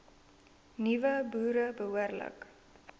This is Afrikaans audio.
nuwe boere behoorlik